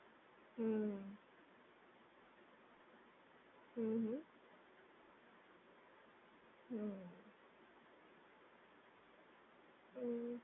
હમ્મ, હમ્મ હમ્મ, હમ્મ, હમ્મ